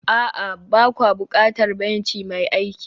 a'a, ba kwa buƙatar benci mai aiki